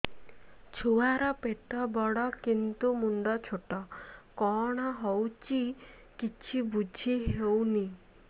ଛୁଆର ପେଟବଡ଼ କିନ୍ତୁ ମୁଣ୍ଡ ଛୋଟ କଣ ହଉଚି କିଛି ଵୁଝିହୋଉନି